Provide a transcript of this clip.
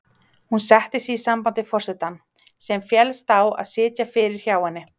Hún setti sig í samband við forsetann, sem féllst á að sitja fyrir hjá henni.